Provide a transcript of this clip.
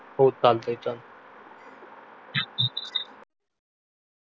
हो चालतय चालतय